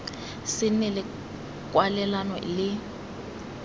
se nne le kwalelano le